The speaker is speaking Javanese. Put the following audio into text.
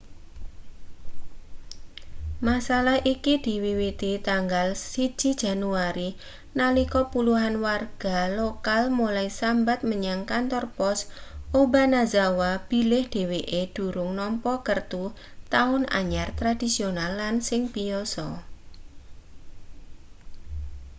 masalah iki diwiwiti tanggal 1 januari nalika puluhan warga lokal mulai sambat menyang kantor pos obanazawa bilih dheweke durung nampa kertu taun anyar tradisional lan sing biyasa